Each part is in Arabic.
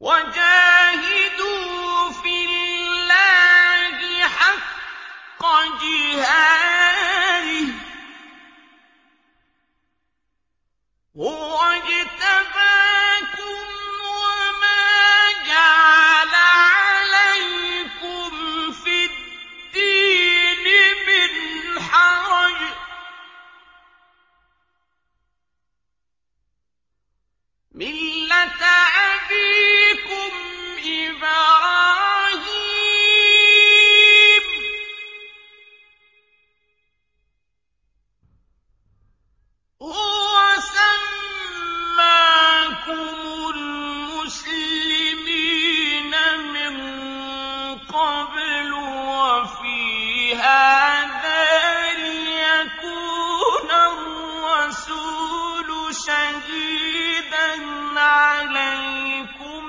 وَجَاهِدُوا فِي اللَّهِ حَقَّ جِهَادِهِ ۚ هُوَ اجْتَبَاكُمْ وَمَا جَعَلَ عَلَيْكُمْ فِي الدِّينِ مِنْ حَرَجٍ ۚ مِّلَّةَ أَبِيكُمْ إِبْرَاهِيمَ ۚ هُوَ سَمَّاكُمُ الْمُسْلِمِينَ مِن قَبْلُ وَفِي هَٰذَا لِيَكُونَ الرَّسُولُ شَهِيدًا عَلَيْكُمْ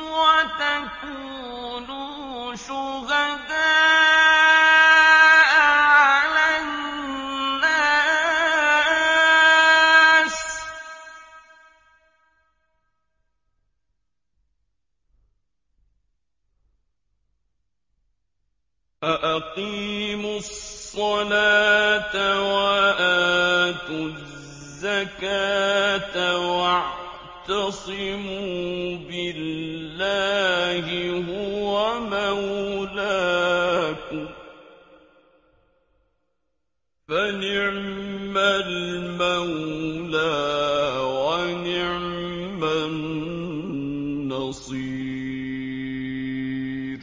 وَتَكُونُوا شُهَدَاءَ عَلَى النَّاسِ ۚ فَأَقِيمُوا الصَّلَاةَ وَآتُوا الزَّكَاةَ وَاعْتَصِمُوا بِاللَّهِ هُوَ مَوْلَاكُمْ ۖ فَنِعْمَ الْمَوْلَىٰ وَنِعْمَ النَّصِيرُ